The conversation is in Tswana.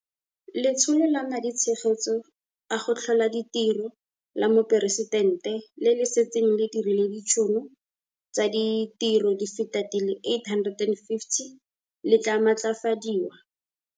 Letsholo la Maditshegetso a go Tlhola Ditiro la Moporesitente, le le setseng le dirile ditšhono tsa ditiro di feta di le 850 000, le tla maatlafadiwa.